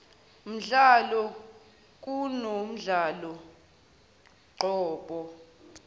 mdlalo kunomdlalo qobo